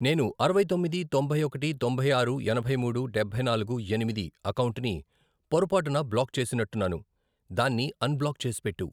నేను అరవై తొమ్మిది, తొంభై ఒకటి, తొంభై ఆరు, ఎనభై మూడు, డబ్బై నాలుగు, ఎనిమిది, అకౌంటుని పొరపాటున బ్లాక్ చేసినట్టున్నాను, దాన్ని అన్ బ్లాక్ చేసిపెట్టు.